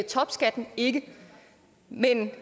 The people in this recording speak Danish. topskatten ikke men